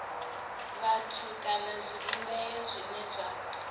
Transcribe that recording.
vhathu kana zwivhumbeo zwine zwa